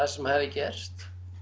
sem hafi gerst